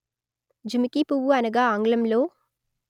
జుమికి పువ్వు అనగా ఆంగ్లంలో